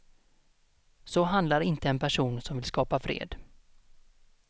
Så handlar inte en person som vill skapa fred.